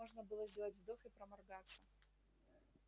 можно было сделать вдох и проморгаться